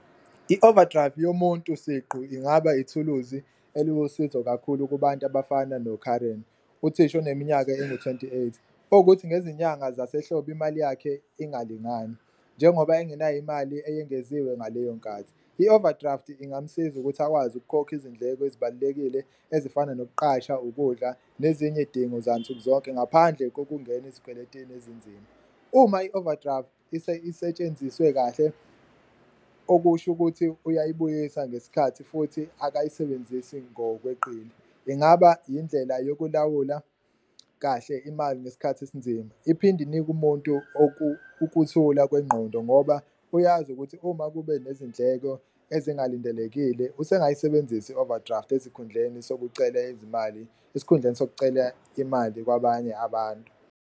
I-overdrive yomuntu siqu ingaba ithuluzi eluwusizo kakhulu kubantu abafana no-Karen uthisha oneminyaka engu-twenty eight, owukuthi ngezinyanga zasehlobo imali yakhe ingalingani njengoba enginayo imali eyengeziwe ngaleyo nkathi. I-overdraft ingamsiza ukuthi akwazi ukukhokha izindleko ezibalulekile ezifana nokuqasha, ukudla nezinye idingo zansuku zonke ngaphandle kokungena ezikweletini ezinzima, uma i-overdraft isetshenziswe kahle okusho ukuthi uyayibuyisa ngesikhathi futhi akayisebenzisi ngokweqile. Ingaba yindlela yokulawula kahle imali nesikhathi esinzima, iphinde inike umuntu ukuthula kwengqondo ngoba uyazi ukuthi uma kube nezindleko ezingalindelekile usengayisebenzisi i-overdraft ezikhundleni, sokucela izimali esikhundleni sokucela imali kwabanye abantu.